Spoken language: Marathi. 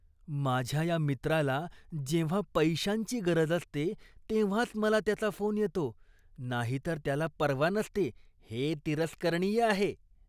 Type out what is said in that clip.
माझ्या या मित्राला जेव्हा पैशांची गरज असते तेव्हाच मला त्याचा फोन येतो, नाहीतर त्याला पर्वा नसते हे तिरस्करणीय आहे.